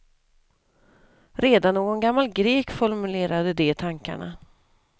Redan någon gammal grek formulerade de tankarna.